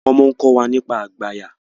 wo món ko wá nípa àgbàyà